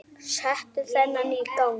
Þar settu þeir Skapta niður.